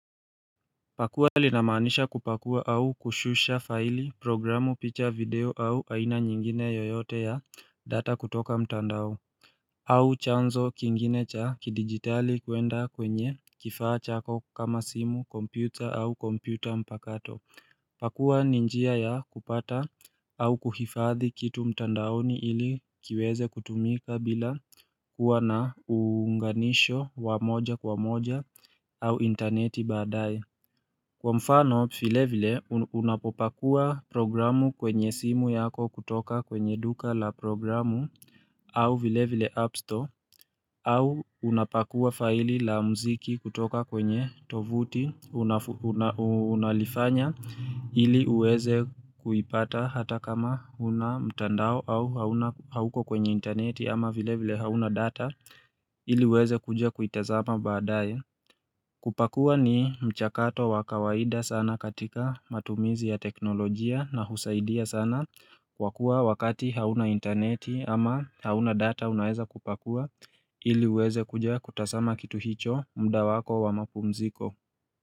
Pakua linamaanisha kupakua au kushusha faili programu picha video au aina nyingine yoyote ya data kutoka mtandao au chanzo kingine cha kidigitali kwenda kwenye kifaa chako kama simu kompyuta au kompyuta mpakato Pakua ni njia ya kupata au kuhifadhi kitu mtandaoni ili kiweze kutumika bila kuwa na uunganisho wa moja kwa moja au interneti baadae Kwa mfano, vile vile unapopakua programu kwenye simu yako kutoka kwenye duka la programu au vile vile app Store au unapakua faili la mziki kutoka kwenye tovuti unalifanya ili uweze kuipata hata kama huna mtandao au hauna hauko kwenye interneti ama vile vile hauna data ili uweze kuja kuitazama badaye kupakua ni mchakato wakawaida sana katika matumizi ya teknolojia na husaidia sana kwa kuwa wakati hauna interneti ama hauna data unaeza kupakua ili uweze kuja kutazama kitu hicho mda wako wa mapumziko.